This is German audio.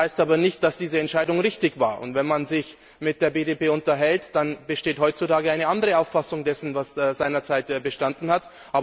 Das heißt aber nicht, dass diese Entscheidung richtig war, und wenn man sich mit der BDP unterhält, dann besteht heutzutage eine andere Auffassung dessen, was seinerzeit bestanden hat.